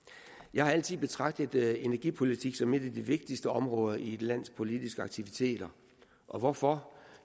jeg har altid betragtet energipolitik som et af de vigtigste områder i et lands politiske aktiviteter og hvorfor